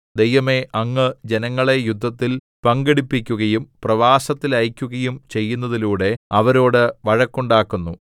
ദൈവമേ അങ്ങ് ജനങ്ങളെ യുദ്ധത്തില്‍ പങ്കെടുപ്പിക്കുകയും പ്രവാസത്തിലയയ്ക്കുകയും ചെയ്യുന്നതിലൂടെ അവരോട് വഴക്കുണ്ടാക്കുന്നു